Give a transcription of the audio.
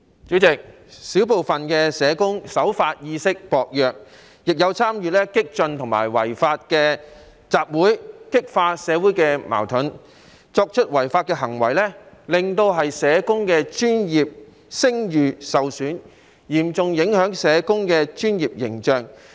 主席，小部分社工守法意識薄弱，亦有參與激進及違法的集會，激化社會矛盾，作出違法行為，令社工的專業聲譽受損，嚴重影響社工的專業形象。